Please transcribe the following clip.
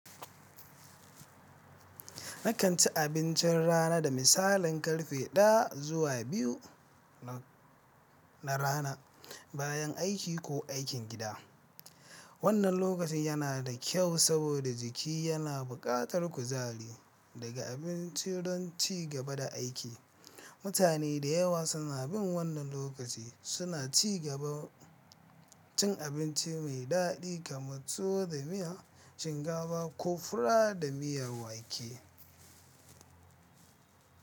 Nakan ci abincin rana da misalin karfe 1 zuwa 2 na rana, bayan aiki ko aikin gida. Wannan lokaci yana da kyau saboda jiki yana buƙatar kuzari daga abinci don ci gaba da aiki. Mutane da yawa suna bin wannan lokaci, suna ci gaba cin abinci mai daɗi kamar tuwo da miya, shinkafa ko fura da miyar wake.